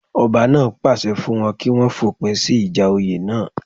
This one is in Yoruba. Ọba náà pàṣẹ fún wọn kí wọ́n fòpin sí ìjà oyè náà